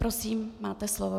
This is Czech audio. Prosím, máte slovo.